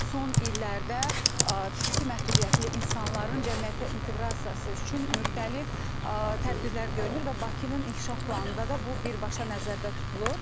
Son illərdə fiziki məhdudiyyətli insanların cəmiyyətə inteqrasiyası üçün müxtəlif tədbirlər görünür və Bakının inkişaf planında da bu birbaşa nəzərdə tutulur.